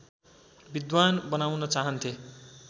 विद्वान् बनाउन चाहन्थे